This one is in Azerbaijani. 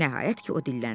Nəhayət ki o dilləndi.